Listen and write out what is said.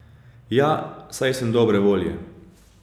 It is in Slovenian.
Ja, saj sem dobre volje.